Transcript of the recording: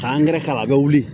K'an gɛrɛ k'a la a bɛ wuli